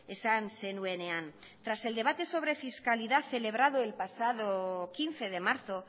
esan zenuenean tras el debate sobre fiscalidad celebrado el pasado quince de marzo